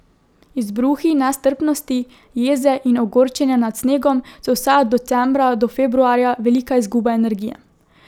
Izbruhi nestrpnosti, jeze in ogorčenja nad snegom so vsaj od decembra do februarja velika izguba energije.